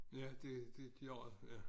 Ja det det klart ja